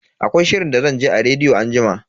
Akwai shirin da zan ji a rediyo anjima.